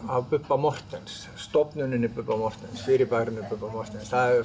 af Bubba Morthens stofnuninni Bubba Morthens fyrirbærinu Bubba Morthens